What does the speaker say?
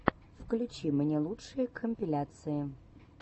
включи мне лучшие компиляции